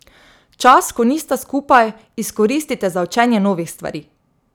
Čas, ko nista skupaj, izkoristite za učenje novih stvari.